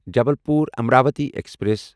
Jabalpur Amravati express